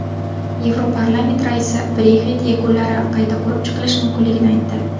Yevroparlament raisi Brexit yakunlari qayta ko‘rib chiqilishi mumkinligini aytdi.